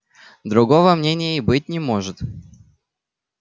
другого мнения и быть не может